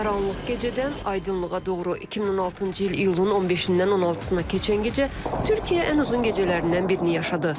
Qaranlıq gecədən aydınlığa doğru 2016-cı il iyulun 15-dən 16-na keçən gecə Türkiyə ən uzun gecələrindən birini yaşadı.